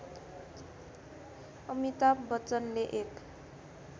अमिताभ बच्चनले एक